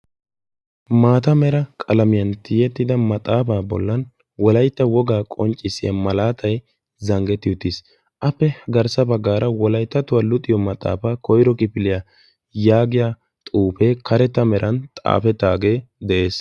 maata mera qalamiyan tiyyettida maxaafa bollan wolaytta wogaa qonccissiya malaatay zanggetti uttiis, appe garssaa baggaara wolayttattuwaa luxiyaa maxaafa koyro kifiliyaa yaagiyaa xuufe karetta meran xaafetaage de'ees.